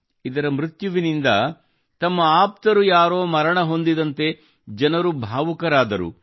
ಇದರ ಮೃತ್ಯುವಿನಿಂದ ತಮ್ಮ ಆಪ್ತರು ಯಾರೋ ಮರಣ ಹೊಂದಿದಂತೆ ಜನರು ಭಾವುಕರಾದರು